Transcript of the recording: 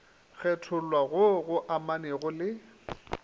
kgethollwa goo go amanego le